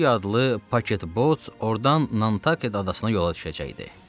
Şibiya adlı paketbot ordan Nantaked adasına yola düşəcəkdi.